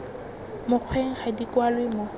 mokgweng ga di kwalwe mo